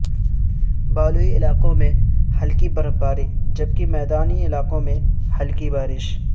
بالائی علاقوں میں ہلکی برفباری جبکہ میدانی علاقوں میں ہلکی بارش